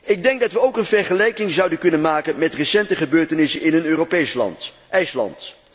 Ik denk dat we ook een vergelijking zouden kunnen maken met recente gebeurtenissen in een Europees land, IJsland.